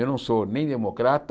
Eu não sou nem democrata,